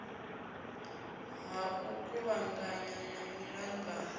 ha u kuvhangana ha miṱangano